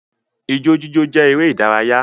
Ijó jíjó jẹ́ eré ìdárayá